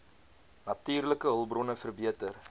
natuurlike hulpbronne verbeter